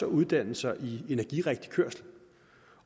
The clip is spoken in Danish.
uddanne sig i energirigtig kørslen